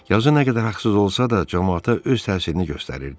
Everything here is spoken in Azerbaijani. Yazı nə qədər haqsız olsa da, camaata öz təsirini göstərirdi.